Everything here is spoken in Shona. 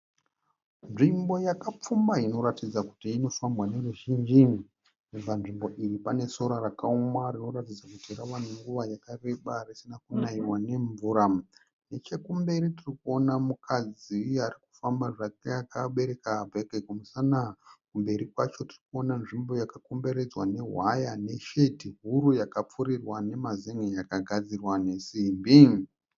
Nzvimbo yakapfumba inoratidza kuti inofambwa neruzhinji. Panzvimbo iyi pane sora rakaoma rinoratidza kuti rave nenguva yakareba risina kunaiwa nemvura. Nechekumberi tirikuona mukadzi arikufamba zvake akabereka bhegi kumusana. Kumberi kwacho tirikuona nzvimbo yakakomberedzwa nehwaya neshedhi huru yakapfurirwa nemazen'e yakagadzirwa nesimbi.